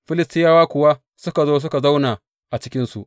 Filistiyawa kuwa suka zo suka zauna a cikinsu.